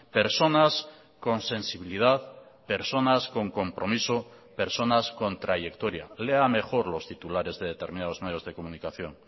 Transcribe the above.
personas con sensibilidad personas con compromiso personas con trayectoria lea mejor los titulares de determinados medios de comunicación